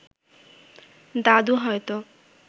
দাদু হয়তো